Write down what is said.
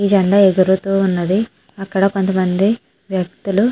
ఈ జెండా ఎగురుతూ ఉన్నది. ఆకాద కొంతమంది వ్యక్తులు --